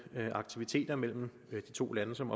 aktiviteter mellem de to lande som